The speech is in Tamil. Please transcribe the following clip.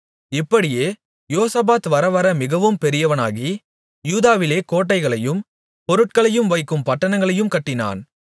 இப்படியே யோசபாத் வரவர மிகவும் பெரியவனாகி யூதாவிலே கோட்டைகளையும் பொருட்களை வைக்கும் பட்டணங்களையும் கட்டினான்